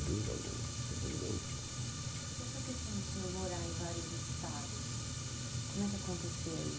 Dúvida alguma, sem dúvida alguma. E essa questão do senhor morar em vários estados, como é que acontecia